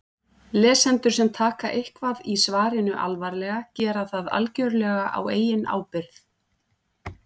Lesendur sem taka eitthvað í svarinu alvarlega gera það algjörlega á eigin ábyrgð.